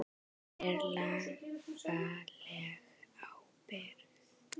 Hver er lagaleg ábyrgð?